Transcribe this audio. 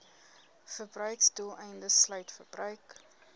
verbruiksdoeleindes sluit verbruik